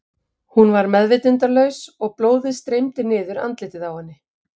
Hún var meðvitundarlaus og blóðið streymdi niður andlitið á henni.